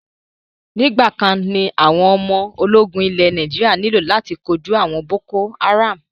Nígbàkan ní àwọn ọmọ ológun ilẹ̀ Nàíjírà nílò láti kóju àwọn boko haram.